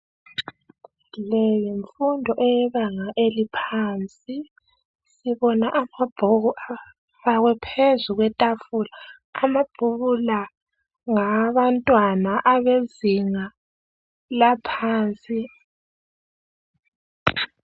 Leyimfundo eyebanga eliphansi. Sibona amabhuku afakwe phezu kwetafula. Amabhuku la ngawabantwana abezinga laphansi.